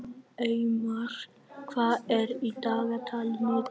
Eymar, hvað er í dagatalinu í dag?